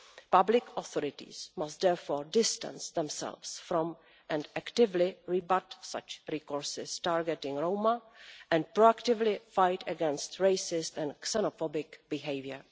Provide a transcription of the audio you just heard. Public authorities must distance themselves from, and actively rebut, such discourses targeting Roma, and proactively fight against racist and xenophobic behaviour.